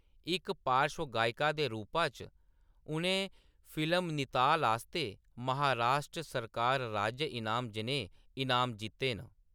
इक पार्श्व गायिका दे रूपा च, उʼनें फिल्म निताल आस्तै महाराश्ट्र सरकार राज्य इनाम जनेह् इनाम जीत्ते न।